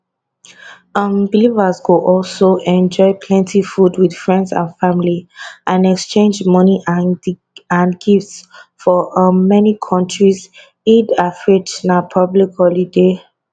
um believers go also enjoy plenty food wit friends and family and exchange money and and gifts for um many kontris eid alfitr na public holiday